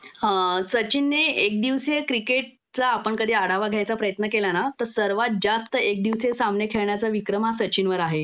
अ सचिनने एक दिवसीय क्रिकेटचा आपण कधी आढावा घ्यायचा प्रयत्न केला ना तर सर्वात जास्त एक दिवसीय सामने खेळण्याचा विक्रम हा सचिनवर आहे